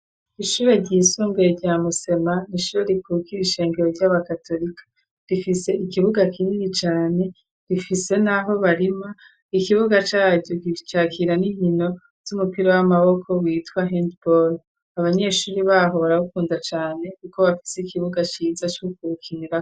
Ishure ryisunbuye rya Musema n'ishure rikukira ishengero ry'aba katolika .Rifise ikibuga kinini cane rifise n'aho barima ikibuga caryo gicakira n'inkino y'umupira w'amaboko witwa handball. Abanyeshuri baho barabukunda cane kuko bafise ikibuga ciza co gukukinira.